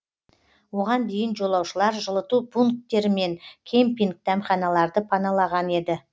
оған дейін жолаушылар жылыту пунктері мен кемпинг дәмханаларды паналаған еді